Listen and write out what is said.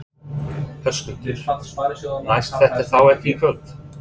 Höskuldur: Næst þetta þá ekki í kvöld?